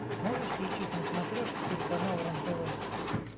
можешь включить на смотрешке телеканал рен тв